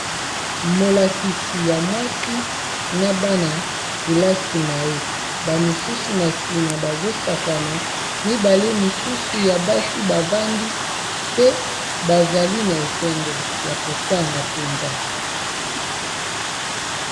Molakisi ya mwasi na bana-kelasi na ye, ba misusu na nsima bazo sakana mibale misusu ya basi bavandi pe bazali na esengo ya kotanga mpenza.